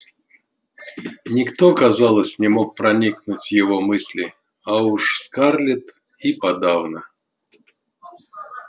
никто казалось не мог проникнуть в его мысли а уж скарлетт и подавно